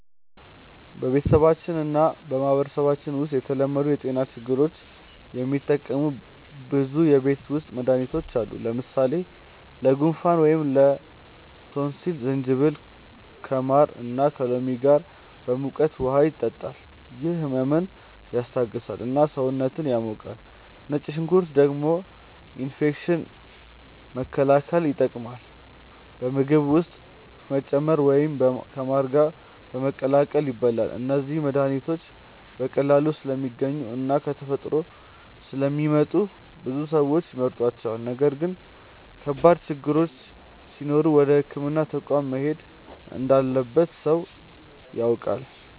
በቤተሰባችን እና በማህበረሰባችን ውስጥ ለተለመዱ የጤና ችግሮች የሚጠቀሙ ብዙ የቤት ውስጥ መድሃኒቶች አሉ። ለምሳሌ ለጉንፋን ወይም ላቶንሲል ጅንጅብል ከማር እና ከሎሚ ጋር በሙቀት ውሃ ይጠጣል፤ ይህ ህመምን ያስታግሳል እና ሰውነትን ያሞቃል። ነጭ ሽንኩርት ደግሞ ኢንፌክሽን መከላከል ይጠቀማል፣ በምግብ ውስጥ በመጨመር ወይም ከማር ጋር በመቀላቀል ይበላል። እነዚህ መድሃኒቶች በቀላሉ ስለሚገኙ እና ከተፈጥሮ ስለሚመጡ ብዙ ሰዎች ይመርጧቸዋል። ነገር ግን ከባድ ችግሮች ሲኖሩ ወደ ሕክምና ተቋም መሄድ እንዳለበት ሰዎች ያውቃሉ።